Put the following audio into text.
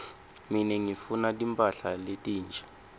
mine ngifuna timphahla letinsha